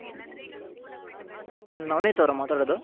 ನವನೀತ್ ಅವರ ಮಾತಾಡದು.